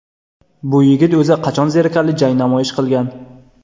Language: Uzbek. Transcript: Bu yigit o‘zi qachon zerikarli jang namoyish qilgan?